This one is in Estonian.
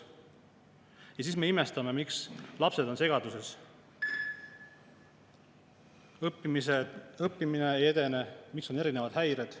Ja siis me imestame, miks lapsed on segaduses, õppimine ei edene, miks on erinevad häired.